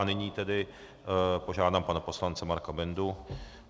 A nyní tedy požádám pana poslance Marka Bendu.